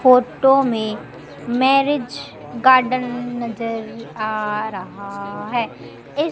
photo में marriage garden नजर आ रहा है इस--